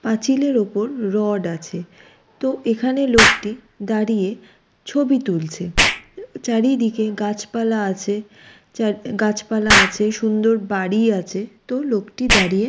পাঁচিল এর উপর রড আছে তো এখানে লোকটি দাঁড়িয়ে ছবি তুলছে চারিদিকে গাছ পালা আছে গাছ পালা আছে সুন্দর বাড়ি আছে তো লোকটি দাঁড়িয়ে--